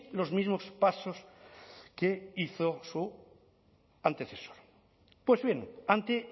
los mismos pasos que hizo su antecesor pues bien ante